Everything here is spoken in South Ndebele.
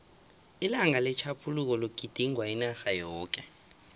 ilanga letjhaphuluko ligidingwa inarha yoke